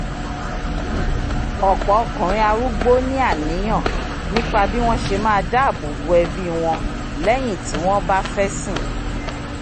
ọ̀pọ̀ ọkùnrin arúgbó ní àníyàn nípa bí wọ́n ṣe máa dáabò bò ẹbí wọn lẹ́yìn ti wọ́n bá fẹ́sìn